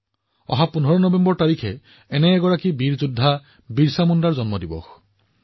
অহা মাহত ১৫ নৱেম্বৰত আমাৰ দেশৰ এনে এজন মহান ব্যক্তি সাহসী যোদ্ধা ভগৱান বিৰচা মুণ্ডাজীৰ জন্ম জয়ন্তী আহি আছে